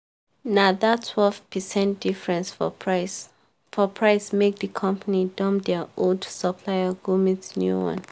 na that twelve percent difference for price for price make the company dump their old supplier go meet new one